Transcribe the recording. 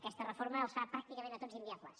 aquesta reforma els fa pràcticament a tots inviables